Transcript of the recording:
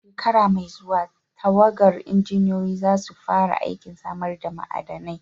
A shekara mai zuwa, tawagar injiniyoyi za su fara aikin samar da ma'adanai.